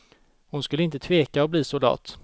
Hon skulle inte tveka att bli soldat.